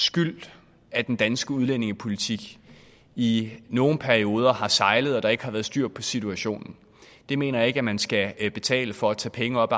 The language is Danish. skyld at den danske udlændingepolitik i nogle perioder har sejlet og der ikke har været styr på situationen det mener jeg ikke man skal betale for og tage penge op